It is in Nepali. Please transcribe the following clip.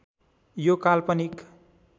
यो काल्पनिक